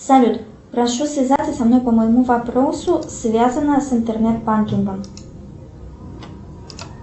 салют прошу связаться со мной по моему вопросу связано с интернет банкингом